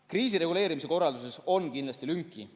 Kriisireguleerimise korralduses on kindlasti lünki.